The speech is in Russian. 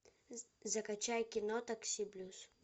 закачай кино такси плюс